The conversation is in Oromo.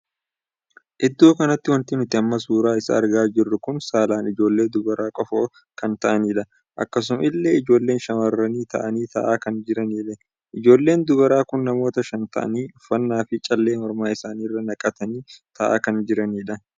Iddoo kanatti wanti nuti amma suuraa isaa argaa jirru kun saalaan ijoollee dubaraa qofa kan taa'anidha. akkasuma illee ijoolleen shamarranii taa'anii taa'aa kan jiraniidha. ijoolleen dubaraa kun namoota shan taa'anii uffannaa fi callee morma isaanii irra naqatanii taa'aa kan jiranidha.